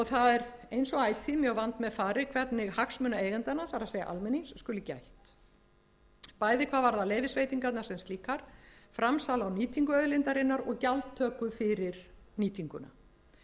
það er eins og ætíð mjög vandmeðfarið hvernig hagsmuna eigendanna það er almennings skuli gætt bæði hvað varðar leyfisveitingarnar sem slíkar framsal á nýtingu auðlindarinnar og gjaldtöku fyrir nýtinguna minni